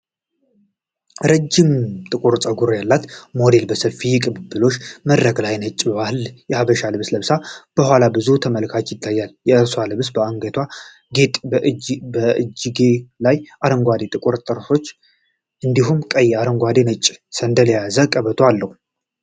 ረዥም ጥቁር ፀጉር ያላት ሞዴል በሰፊው የቅብብሎሽ መድረክ ላይ ነጭ ባህላዊ የሐበሻ ልብስ ለብሳ፣ ከኋላ ብዙ ተመልካቾች ይታያሉ። የእርሷ ልብስ በአንገትጌና በእጅጌው ላይ አረንጓዴና ጥቁር ጥልፎች፣ እንዲሁም ቀይ፣ አረንጓዴና ነጭ ሰንደቅ የያዘ ቀበቶ አለው።